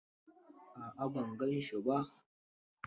A'a ban gan shi ba.